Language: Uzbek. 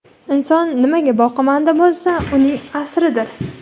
Inson nimaga boqimanda bo‘lsa, uning asiridir.